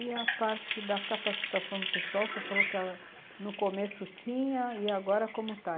E a parte da capacitação do pessoal, você falou que no começo tinha e agora como está?